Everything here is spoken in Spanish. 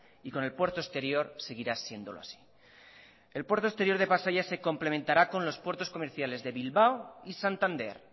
y con el puerto exterior seguirá siéndolo así el puerto exterior de pasaia se complementará con los puertos comerciales de bilbao y santander